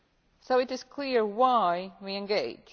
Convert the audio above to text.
So it is clear why' we engage.